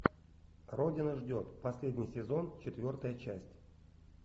родина ждет последний сезон четвертая часть